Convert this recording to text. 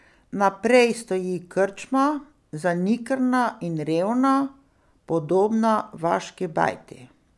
Naprej stoji krčma, zanikrna in revna, podobna vaški bajti.